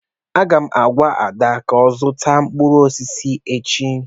M ga-agwa Ada ka ọ zụta mkpụrụ osisi echi.